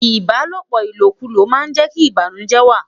Ibalopo ilokulo ma je ki banujẹ wa